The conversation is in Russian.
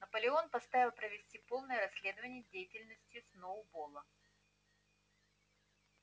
наполеон поставил провести полное расследование деятельности сноуболла